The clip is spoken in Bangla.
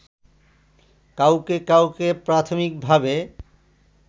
কাউকে কাউকে প্রাথমিকভাবে